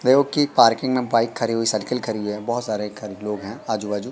प्रयोग की पार्किंग में बाइक खड़ी हुई साइकर खड़ी हुई है बहोत सारे घर लोग है आजू बाजू--